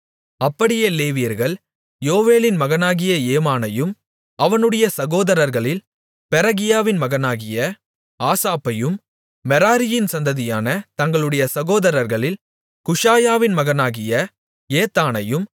அப்படியே லேவியர்கள் யோவேலின் மகனாகிய ஏமானையும் அவனுடைய சகோதரர்களில் பெரகியாவின் மகனாகிய ஆசாப்பையும் மெராரியின் சந்ததியான தங்களுடைய சகோதரர்களில் குஷாயாவின் மகனாகிய ஏத்தானையும்